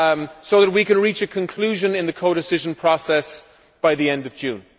so that we can reach a conclusion in the codecision process by the end of June.